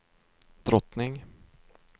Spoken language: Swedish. drottning